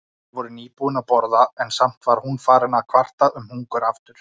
Þau voru nýbúin að borða en samt var hún farin að kvarta um hungur aftur.